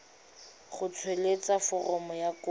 go tsweletsa foromo ya kopo